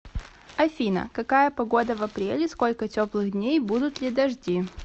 афина какая погода в апреле сколько теплых дней будут ли дожди